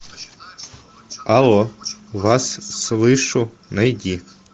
алло вас слышу найди